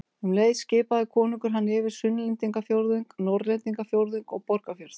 Um leið skipaði konungur hann yfir Sunnlendingafjórðung, Norðlendingafjórðung og Borgarfjörð.